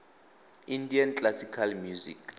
indian classical music